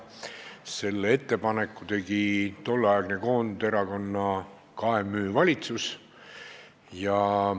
Selle ettepaneku tegi tolleaegne Koonderakonna ja Maarahva Ühenduse ehk KMÜ valitsus.